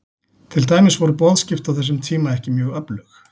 Til dæmis voru boðskipti á þessum tíma ekki mjög öflug.